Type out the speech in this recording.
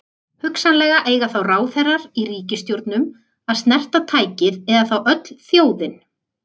Hugsanlega eiga þá ráðherrar í ríkisstjórnum að snerta tækið eða þá öll þjóðin.